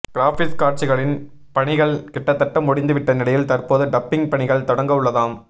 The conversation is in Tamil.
கிராபிக்ஸ் காட்சிகளின் பணிகள் கிட்டத்தட்ட முடிந்துவிட்ட நிலையில் தற்போது டப்பிங் பணிகள் தொடங்கவுள்ளதாம்